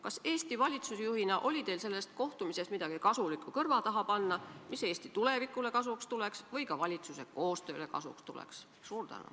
Kas Eesti valitsusjuhina oli teil sellest kohtumisest kõrva taha panna midagi, mis Eesti tulevikule või ka valitsuse koostööle kasuks tuleks?